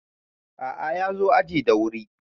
a`a ya zo aji da wuri